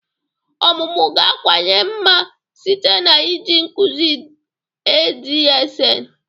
Ọmụmụ ga-akawanye mma site n'iji nkuzi adsn